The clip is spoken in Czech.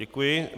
Děkuji.